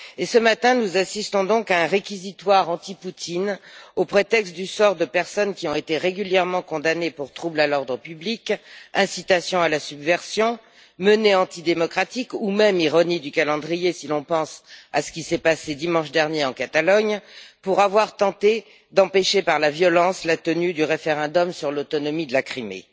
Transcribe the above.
Ce matin, nous assistons donc à un réquisitoire anti Poutine, au prétexte du sort de personnes qui ont été régulièrement condamnées pour troubles à l'ordre public, incitations à la subversion, menées antidémocratiques ou même, ironie du calendrier, si l'on pense à ce qui s'est passé dimanche dernier en Catalogne, pour tentatives d'empêcher, par la violence, la tenue du référendum sur l'autonomie de la Crimée.